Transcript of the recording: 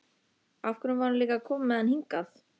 Af hverju var hún líka að koma með hann hingað?